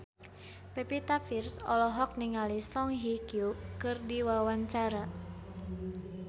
Pevita Pearce olohok ningali Song Hye Kyo keur diwawancara